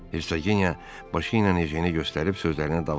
Hersoginya başı ilə Ejenə göstərib sözlərinə davam elədi.